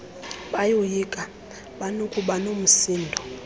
bayoyika banokuba nomsindo